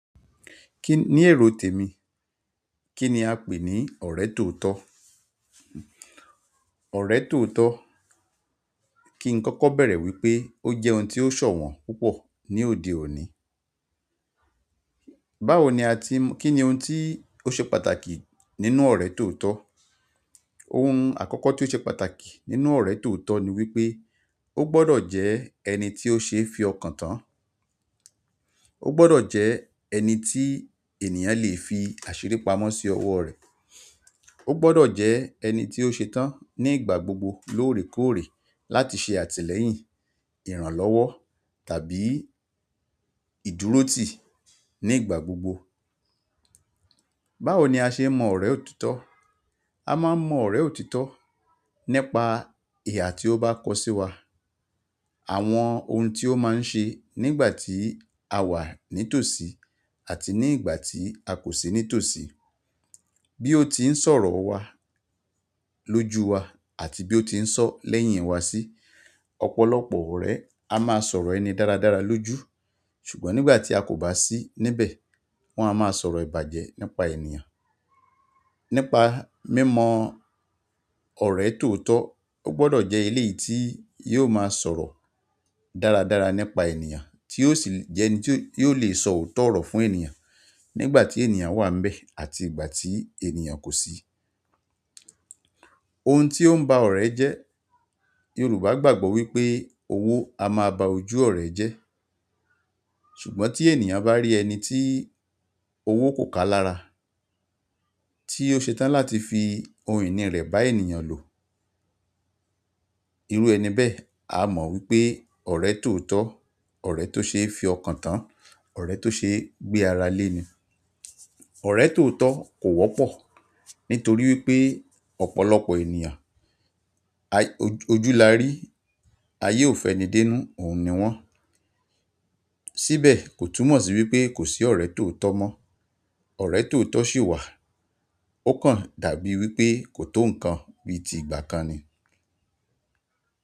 Kí ní èrò tèmi? Kí ni a pè ní ọ̀rẹ́ tòótọ́? Ọ̀rẹ́ tòótọ́, kí n kọ́kọ́ bẹ̀rẹ̀ wípé ó jẹ́ oun tí ó ṣọ̀wọ́n púpọ̀ ní òde òní. Báwo ni a ti m-- kí ni oun tí ó ṣe pàtàkì nínú ọ̀rẹ́ tòótọ́? Ohun àkọ́kọ́ tí ó ṣe pàtàkì nínú ọ̀rẹ́ tòótọ́ ni wípé ó gbọ́dọ̀ jẹ ẹni tí ó ṣe é fi ọkàn tán. Ó gbọ́dọ̀ jẹ ẹni tí ènìyàn lè fi àṣírí pamọ́ sí ọwọ́ rẹ̀. Ó gbọ́dọ̀ jẹ ẹni tí ó ṣe tán ní ìgbà gbogbo lóòrèkóòrè láti ṣe àtìlẹ́yìn, ìrànlọ́wọ́ tàbí ìdúróti ní ìgbà gbogbo. Báwo ni a ṣe mọ ọ̀rẹ́ òtítọ́? A máa ń mọ ọ̀rẹ́ òtítọ́ nípa ìhà tí ó bá kọ sí wa. Àwọn oun tí ó máa ń ṣe nígbà tí a wà ní tòsí àti nígbà tí a kò sí ní tòsí, bí ó ti ń sọ̀rọ̀ wa lójú wa àti bí ó ti ń sọ lẹ́yìn wa sí. Ọ̀pọ̀lọpọ̀ ọ̀rẹ́ a máa sọ̀rọ̀ ẹni dáradára lójú, ṣùgbọ́n nígbà tí a kò bá sí níbẹ̀ wọ́n a máa sọ̀rọ̀ ìbàjẹ́ nípa ènìyàn. Nípa mímọ ọ̀rẹ́ tòótọ́, ó gbọ́dọ̀ jẹ́ ilé tí yóò máa sọ̀rọ̀ dára dára nípa ènìyàn ti o si je ẹni ti o le so oto oro fún ènìyàn nígbà ti ènìyàn wa níbẹ̀ àti nígbà tí ènìyàn kosi. Ohun tí ó ń ba ọ̀rẹ́ jẹ́, Yorùbá gbàgbọ́ wípé owó a máa ba ojú ọ̀rẹ́ jẹ́. Ṣùgbọ́n tí ènìyàn bá rí ẹni tí owó kò ká lára tí ó ṣe tán láti fi ohun ìní rẹ̀ bá ènìyàn lò. Irú ẹni bẹ́ẹ̀, a mọ̀ wípé ọ̀rẹ́ tòótọ́, ọ̀rẹ́ tó ṣe é fi ọkàn tán, ọ̀rẹ́ tó ṣe gbé ara lé ni. Ọ̀rẹ́ tòótọ́ kò wọ́pọ̀ nítorí wípé ọ̀pọ̀lọpọ̀ ènìyàn, ojúlarí ayé ò fẹni dé'nú, òun ni wọ́n. Síbẹ̀ kò túmọ̀ sí wípé kò sí ọ̀rẹ́ tòótọ́ mọ. Ọ̀rẹ́ tòótọ́ sì wà, ó kàn dàbí wípé kò tó nǹkan bí i ti ìgbà kan ni.